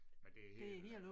Men det er helt øh